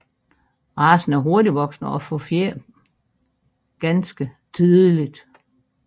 Racen er hurtigvoksende og får fjer ganske tidligt